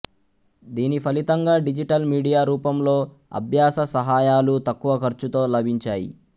దీని ఫలితంగా digital media రూపంలో అభ్యాస సహాయాలు తక్కువ ఖర్చుతో లభించాయి